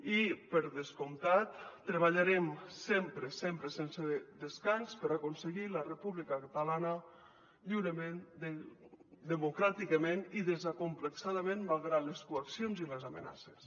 i per descomptat treballarem sempre sempre sense descans per aconseguir la república catalana lliurement democràticament i desacomplexadament malgrat les coaccions i les amenaces